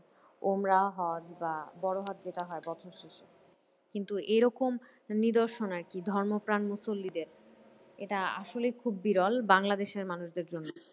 ওমরা হজ বা বড় হজ যেটা হয় বছর শেষে। কিন্তু এরকম নিদর্শন আরকি ধর্মপ্রাণ মুসল্লিদের এটা আসলে খুব বিরল বাংলাদেশের মানুষদের জন্য।